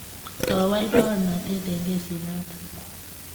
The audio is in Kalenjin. kowal baornatet eng kesit notok.